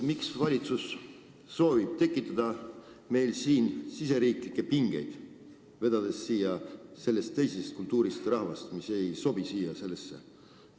Miks valitsus soovib meil tekitada riigisiseseid pingeid, vedades siia teisest kultuuriruumist rahvast, kes ei sobi siia?